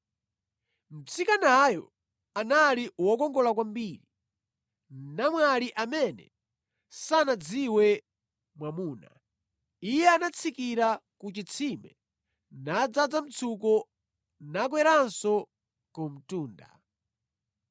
Mtsikanayo anali wokongola kwambiri, namwali amene sanadziwe mwamuna. Iye anatsikira ku chitsime nadzaza mtsuko nakweranso ku mtunda.